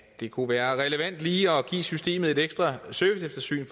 det kunne være relevant lige at give systemet et ekstra serviceeftersyn